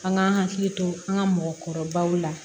An ka hakili to an ka mɔgɔkɔrɔbaw la